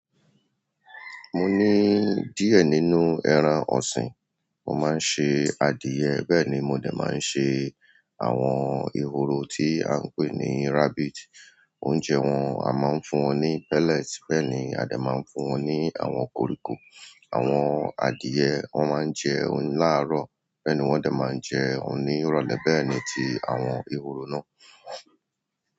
Mo ní díẹ̀ nínú ẹran ọ̀sìn, mo máa ń ṣe adìyẹ bẹ́ẹ̀ ni mo dá máa ń ṣe àwọn ehoro tí à ń pè ní rabbit. Oúnjẹ wọn, a máa ń fún wọn ní pellet bẹ́ẹ̀ ni a dá máa ń fún wọn ní àwọn koríko. Àwọn adìyẹ wọ́n máa ń jẹun láàárọ̀ bẹ́ẹ̀ ni wọ́n dá máa ń jẹun ní ìrọ̀lẹ́ bẹ́ẹ̀ ni ti àwọn ehoro náà.